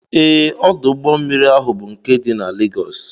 Ee, ọdụ ụgbọmmiri ahụ bụ nke dị na Legọs